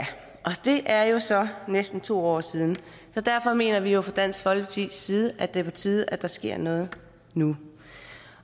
det er jo så næsten to år siden så derfor mener vi fra dansk folkepartis side at det er på tide at der sker noget nu